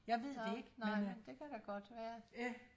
nå nej men det kan da godt være